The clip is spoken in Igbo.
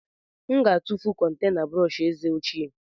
M ga-atụfu kontena brọsh eze ochie.